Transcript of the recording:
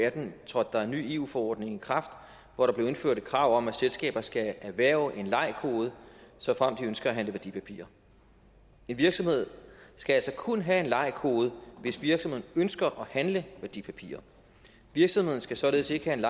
atten trådte der en ny eu forordning i kraft hvor der blev indført et krav om at selskaber skal erhverve en lei kode såfremt de ønsker at handle værdipapirer en virksomhed skal altså kun have en lei kode hvis virksomheden ønsker at handle værdipapirer virksomheden skal således ikke have en